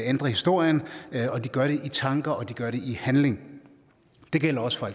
ændre historien og de gør det i tanke og de gør det i handling det gælder også for